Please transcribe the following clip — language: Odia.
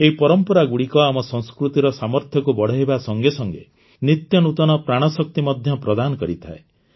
ଏହି ପରମ୍ପରାଗୁଡ଼ିକ ଆମ ସଂସ୍କୃତିର ସାମର୍ଥ୍ୟକୁ ବଢ଼ାଇବା ସଙ୍ଗେ ସଙ୍ଗେ ନିତ୍ୟ ନୂତନ ପ୍ରାଣଶକ୍ତି ମଧ୍ୟ ପ୍ରଦାନ କରିଥାଏ